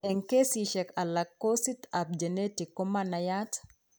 Eng' kesisiek alak kosit ab genetic komanaiyat